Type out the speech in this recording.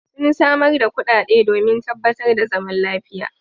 Sun samar da kuɗaɗe domin tabbatar da zaman lafiya.